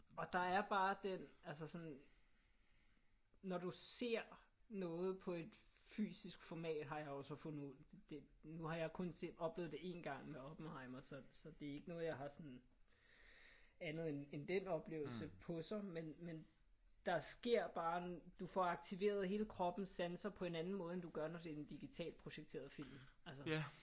Og der er bare den altså sådan når du ser noget på et fysisk format har jeg jo så fundet ud. Det nu har jeg kun set oplevet det én gang med Oppenheimer så så det er ikke noget jeg har sådan andet end den oplevelse på sig men der sker bare noget. Du får aktiveret hele kroppens sanser på en anden måde end når det er en digitalt projiceret film altså